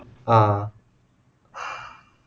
ஆஹ்